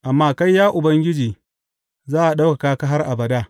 Amma kai, ya Ubangiji, za a ɗaukaka har abada.